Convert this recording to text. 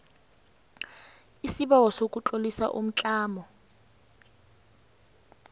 isibawo sokutlolisa umtlamo